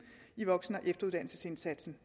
i voksen og efteruddannelsesindsatsen